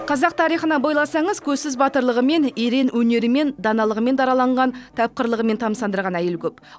қазақ тарихына бойласаңыз көзсіз батырлығымен ерен өнерімен даналығымен дараланған тапқырлығымен тамсандырған әйел көп